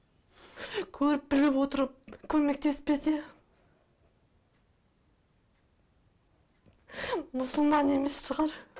көріп біліп отырып көмектеспесе мұсылман емес шығар